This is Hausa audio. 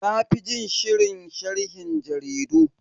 Na fi jin shirin sharhin jaridu.